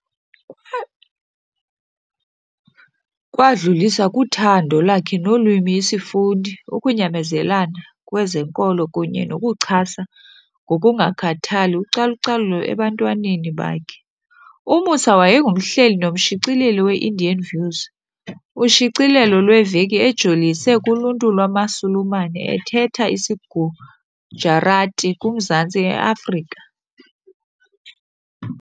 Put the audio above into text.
Wadlulisa kuthando lakhe lolwimi, isifundi, ukunyamezelana kwezenkolo kunye nokuchasa ngokungakhathali ucalucalulo ebantwaneni bakhe. U-Moosa wayengumhleli nomshicileli we-Indian Views , ushicilelo lweveki ejolise kuluntu lwamaSulumane athetha isiGujarati kumazantsi e-Afrika.